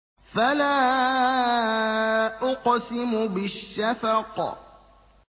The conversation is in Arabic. فَلَا أُقْسِمُ بِالشَّفَقِ